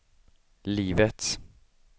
livets